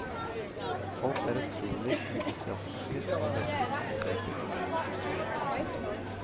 Folk er utrolig entusiastiske og veldig interesserte i byens historie. punktum